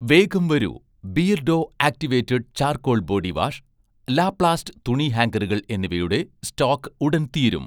വേഗം വരൂ, beardo activated charcoal body wash, ലാപ്ലാസ്റ്റ് തുണി ഹാംഗറുകൾ എന്നിവയുടെ സ്റ്റോക് ഉടൻ തീരും